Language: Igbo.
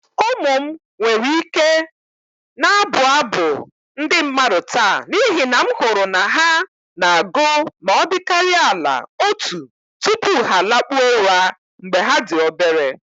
My children can still sing folk poems today because I ensured that they recited at least one before going to bed when they were little.